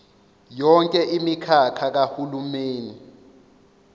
yonke imikhakha kahulumeni